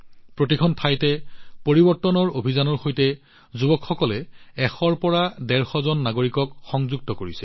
প্ৰতিটো ঠাইতে পৰিৱৰ্তনৰ বাবে এই যুৱ অভিযানে ১০০ৰ পৰা ১৫০জন নাগৰিকক সংযোজিত কৰিছে